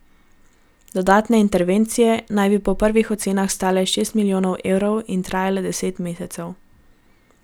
Dodatne intervencije naj bi po prvih ocenah stale šest milijonov evrov in trajale deset mesecev.